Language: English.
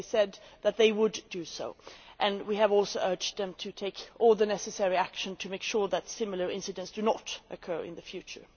They said that they would do so. We have also urged them to take all the necessary action to make sure that similar incidents do not occur in the future.